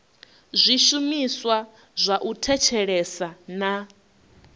zwishumiswa zwa u thetshelesa na